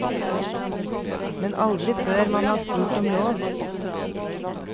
Men aldri før man har spurt om lov.